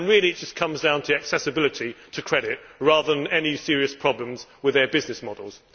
Really it just comes down to the accessibility of credit rather than any serious problems with their business models.